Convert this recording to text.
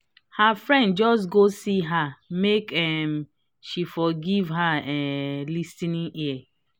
her friend just go see her make um she for give her um lis ten ing ear